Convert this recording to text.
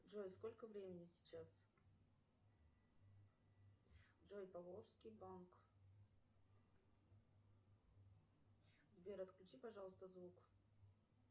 джой сколько времени сейчас джой поволжский банк сбер отключи пожалуйста звук